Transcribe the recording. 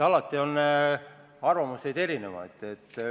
Alati on erinevaid arvamusi.